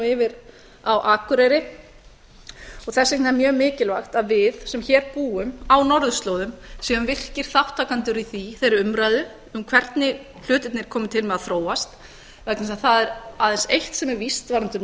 yfir á akureyri þess vegna er mjög mikilvægt að við sem hér búum á norðurslóðum séum virkir þátttakendur í þeirri umræðu um hvernig hlutirnir komi til með að þróast vegna þess að það er aðeins eitt sem er víst varðandi norðurslóðir